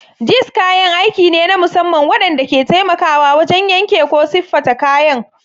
Jigs kayan aiki ne na musamman waɗanda ke taimakawa wajen yanke ko siffata kayan.